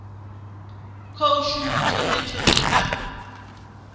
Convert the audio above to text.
khou shuma tshone tshori a